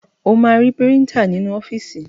O máa ri Píríńtà nínú ọ́fíìsì.